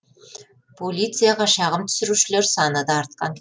полицияға шағым түсірушілер саны да артқан